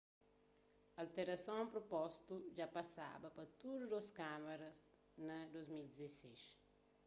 alterason propostu dja pasaba pa tudu dôs kámaras na 2011